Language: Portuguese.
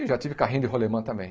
E já tive carrinho de rolêmã também.